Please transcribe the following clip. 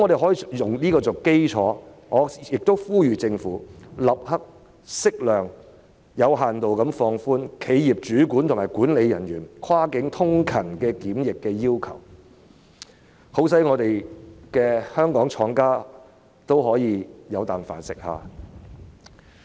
按此基礎，我呼籲政府立刻適量、有限度放寬企業主管和管理人員跨境通勤的檢疫要求，好讓香港廠家可以經營下去。